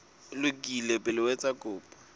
lokile pele o etsa kopo